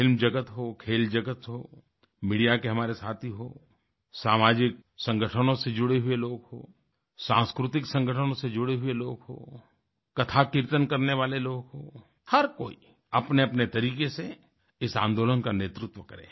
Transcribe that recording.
film जगत हो खेल जगत हो मीडिया के हमारे साथी हों सामाजिक संगठनों से जुड़ें हुए लोग हों सांस्कृतिक संगठनों से जुड़ें हुए लोग हों कथाकीर्तन करने वाले लोग हों हर कोई अपनेअपने तरीके से इस आंदोलन का नेतृत्व करें